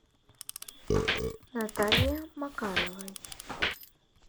наталье макаровой